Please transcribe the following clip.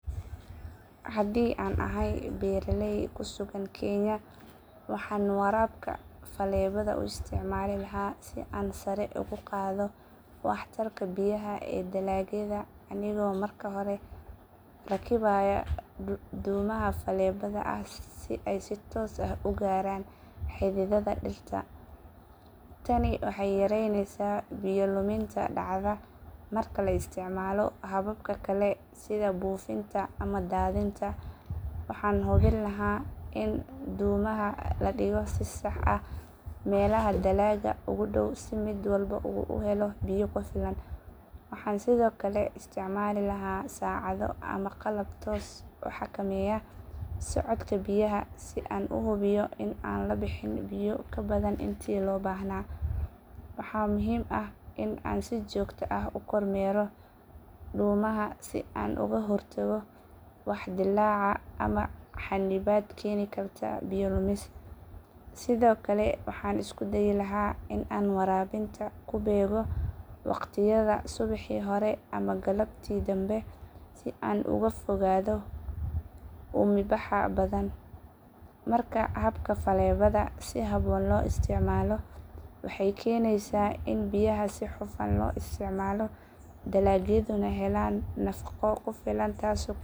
Haddii aan ahay beeraley ku sugan kenya waxaan waraabka faleebada u isticmaali lahaa si aan sare ugu qaado waxtarka biyaha ee dalagyada anigoo marka hore rakibaya dhuumaha faleebada ah si ay si toos ah ugu gaaraan xididdada dhirta. Tani waxay yareynaysaa biyo luminta dhacda marka la isticmaalo hababka kale sida buufinta ama daadinta. Waxaan hubin lahaa in dhuumaha la dhigo si sax ah meelaha dalagga ugu dhow si mid walba u helo biyo ku filan. Waxaan sidoo kale isticmaali lahaa saacado ama qalab toos u xakameeya socodka biyaha si aan u hubiyo in aan la bixin biyo ka badan intii loo baahnaa. Waxaa muhiim ah in aan si joogto ah u kormeero dhuumaha si aan uga hortago wax dillaaca ama xannibaad keeni kara biyo lumis. Sidoo kale waxaan isku dayi lahaa in aan waraabinta ku beego waqtiyada subaxii hore ama galabtii danbe si aan uga fogaado uumibaxa badan. Marka habka faleebada si habboon loo isticmaalo, waxay keenaysaa in biyaha si hufan loo isticmaalo, dalagyaduna helaan nafaqo ku filan taasoo kordhisa wax soo saarka beerta.